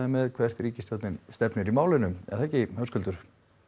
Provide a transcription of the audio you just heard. með hvert ríkisstjórnin stefnir í málinu er það ekki Höskuldur